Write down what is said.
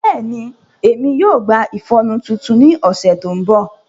Bẹẹni, Emi yoo gba ifọnu titun ni ọsẹ to nbọ.